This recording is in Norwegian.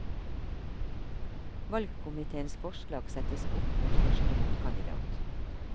Valgkomiteens forslag settes opp mot første motkandidat.